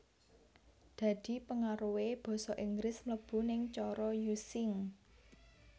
Dhadi pengaruhe Basa Inggris mlebu ning cara Using